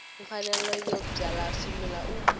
mfanelo yo byala swimila u